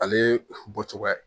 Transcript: Ale bɔcogoya ye